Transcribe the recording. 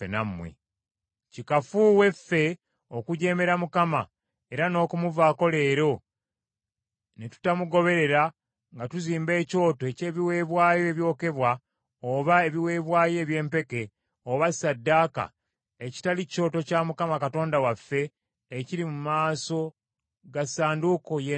Kikafuuwe ffe okujeemera Mukama era n’okumuvaako leero ne tutamugoberera nga tuzimba ekyoto eky’ebiweebwayo ebyokebwa, oba ebiweebwayo eby’empeke, oba ssaddaaka, ekitali kyoto kya Mukama Katonda waffe ekiri mu maaso ga Ssanduuko y’Endagaano ye!”